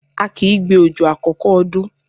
A kìí gbé òjò àkọ́kọ́ ọdún.